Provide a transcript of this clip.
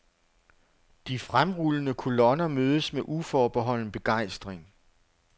De fremrullende kolonner mødes med uforbeholden begejstring.